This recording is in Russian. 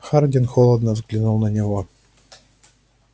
хардин холодно взглянул на него